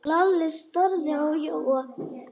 Lalli starði á Jóa.